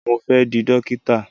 Mo fẹ́ di Dókítà.